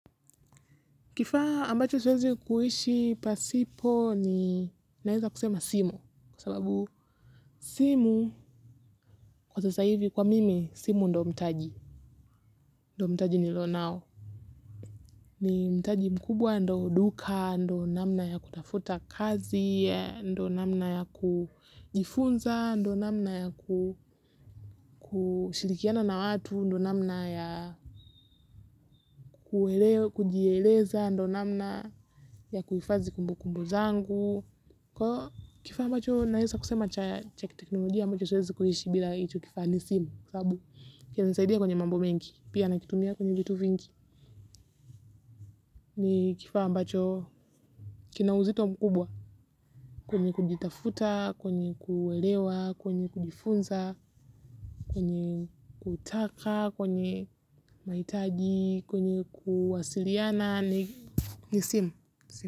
Kifaa ambacho siwezi kuishi pasipo ni naweza kusema simu. Kwa sababu simu, kwa sasa hivi kwa mimi, simu ndio mtaji. Ndio mtaji nilio nao. Ni mtaji mkubwa ndio duka, ndio namna ya kutafuta kazi, ndio namna ya kujifunza, ndio namna ya kushilikiana na watu, ndio namna ya kujeleza, ndio namna ya kuhifadhi kumbu kumbu zangu. Kwahio kifaa mbacho naweza kusema chakiteknolojia mbacho siwezi kuhishi bila icho kifaa nisimu kwasababu kinanisaidia kwenye mambo mengi pia na kitumia kwenye vitu vingi. Ni kifaa mbacho kinauzito mkubwa kwenye kujitafuta, kwenye kuelewa, kwenye kujifunza, kwenye kutaka, kwenye mahitaji, kwenye kuwasiliana, nisimu.